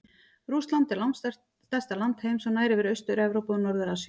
Rússland er langstærsta land heims og nær yfir Austur-Evrópu og Norður-Asíu.